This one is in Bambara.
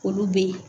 Olu be yen